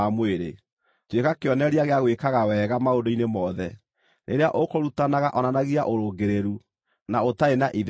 Maũndũ-inĩ mothe, tuĩka kĩonereria gĩa gwĩkaga wega maũndũ-inĩ mothe. Rĩrĩa ũkũrutana onanagia ũrũngĩrĩru, na ũtarĩ na itherũ,